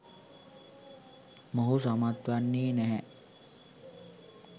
මොහු සමත් වෙන්නේ නැහැ.